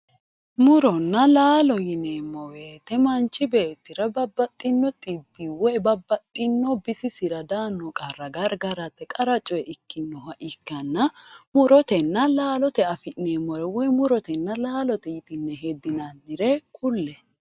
Muronna laalo yineemo woyite manchi beetira babaxitino xibbi woye bisisira daano gargarate qara coyi ikinoha ikana murotena laalote afineemo woyi murote laalote yitine hedinanire kulle